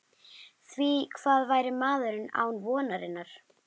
Því hvað væri maðurinn án vonarinnar?